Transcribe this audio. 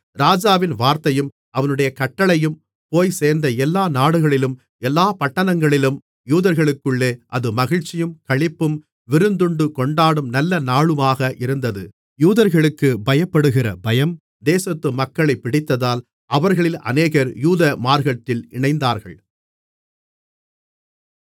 ராஜாவின் வார்த்தையும் அவனுடைய கட்டளையும் போய்ச்சேர்ந்த எல்லா நாடுகளிலும் எல்லாப் பட்டணங்களிலும் யூதர்களுக்குள்ளே அது மகிழ்ச்சியும் களிப்பும் விருந்துண்டு கொண்டாடும் நல்ல நாளுமாக இருந்தது யூதர்களுக்குப் பயப்படுகிற பயம் தேசத்து மக்களைப் பிடித்ததால் அவர்களில் அநேகர் யூத மார்க்கத்தில் இணைந்தார்கள்